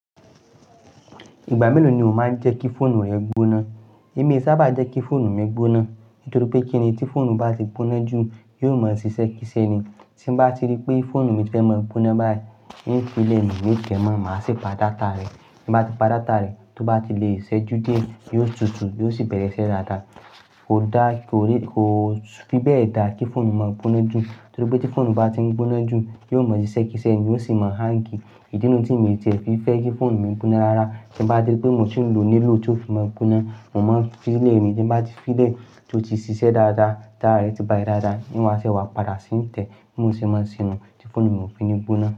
Ìgbà mélòó ni o máa ń jẹ́ kí fóònù rẹ gbóná? Èmi sábà jẹ́ kí fóònù mi gbóná. Nítorí pé kíni tí fóònù bá ti gbóná jù, yóò mọ ṣiṣẹ́ kí iṣẹ́ ni. Tí mo bá ti rí pé fóònù mi fẹ́ máa gbóná báyìí, n ó fi lẹ̀ mi, ni tẹ mó, màá sì pa data rẹ̀. Bí mo bá ti pa data rẹ̀, tó bá ti lo iṣẹ́jú diẹ, yóò tutù, yóò sì bẹ̀rẹ̀ ṣẹ́ dáadáa. Kò dá, kò rí, kò fi bẹ́ẹ̀ dá kí fóònù máa gbóná jù. Nítorí pé tí fóònù bá ti ń gbóná jù, yóò mọ ṣiṣẹ́ kí iṣẹ́ ni, ó sì máa ń hang. Ìdí nu tí mo tiẹ̀ fi fẹ́ kí fóònù mi gbóná lárá, tí mo bá rí pé mò tí ń lò ó nílò tó fi máa gbóná, mò máa ń fi lẹ̀ mi. Tí mo bá ti fi lẹ̀, tó ti ṣiṣẹ́ dáadáa, tara rẹ̀ ti bá ti dáadáa, n wàá ṣé wàá padà ṣí ń tẹ̀ bi mò se máa ṣè nu tí fóònù mi ò fi ní gbóná.